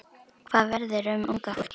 Hvað verður um unga fólkið?